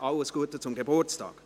Alles Gute zum Geburtstag.